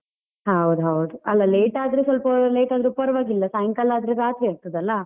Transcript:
ಹೌದು ಹೌದು, ಅಲ್ಲ late ಆದ್ರೆ ಸ್ವಲ್ಪ late ಆದ್ರು ಪರ್ವಾಗಿಲ್ಲ, ಸಾಯಂಕಾಲ ಆದ್ರೆ ರಾತ್ರಿ ಆಗ್ತದಲ್ಲ.